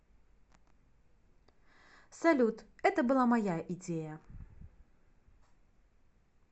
салют это была моя идея